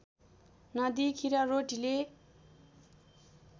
नदिई खिर रोटीले